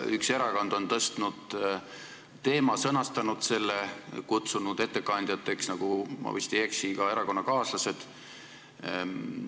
Üks erakond on tõstatanud teema ja sõnastanud selle ning kutsunud ettekandjateks – ma vist ei eksi – oma erakonnakaaslased.